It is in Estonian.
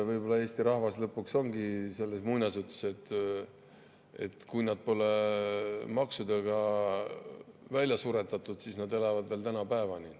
Võib-olla Eesti rahvas lõpuks ongi selles muinasjutus, et kui nad pole maksudega välja suretatud, siis nad elavad veel tänapäevani.